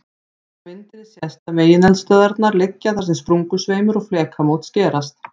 Á myndinni sést að megineldstöðvarnar liggja þar sem sprungusveimur og flekamót skerast.